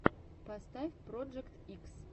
поставь проджект икс